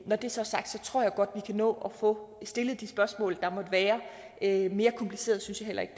når det så er sagt tror jeg godt vi kan nå at få stillet de spørgsmål der måtte være mere kompliceret synes jeg heller ikke